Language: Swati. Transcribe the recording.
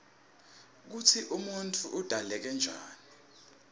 kutsi umuntfu udzaleke njani